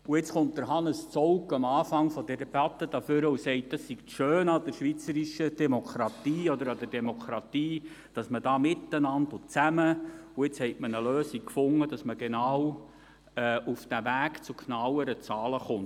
Und jetzt kommt Hannes Zaugg am Anfang dieser Debatte nach vorne ans Rednerpult und sagt, das Schöne an der schweizerischen Demokratie oder an der Demokratie überhaupt sei, dass man da zusammen Lösungen finden könne und man nun eine Lösung gefunden habe, damit man auf den Weg zu genaueren Zahlen kommt.